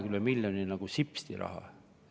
Korrutage, siis saate nagu sipsti üle 20 miljoni.